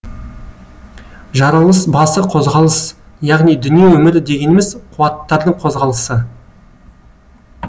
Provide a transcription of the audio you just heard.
жаралыс басы қозғалыс яғни дүние өмірі дегеніміз қуаттардың қозғалысы